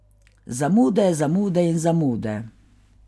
Zamude, zamude in zamude.